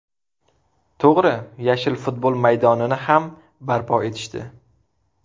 To‘g‘ri, yashil futbol maydonini ham barpo etishdi.